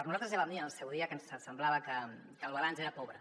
nosaltres ja vam dir en el seu dia que ens semblava que el balanç era pobre